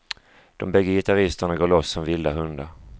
De bägge gitarristerna går loss som vilda hundar.